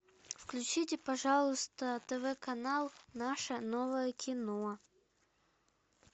включите пожалуйста тв канал наше новое кино